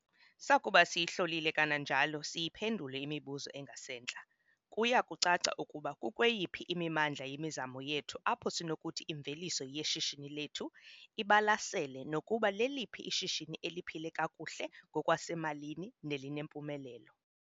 Sakuba siyihlolile kananjalo siyiphendule imibuzo engasentla kuya kucaca ukuba kukweyiphi imimandla yemizamo yethu apho sinokuthi imveliso yeshishini lethu ibalasele nokuba leliphi ishishini eliphile kakuhle ngokwasemalini nelinempumelelo.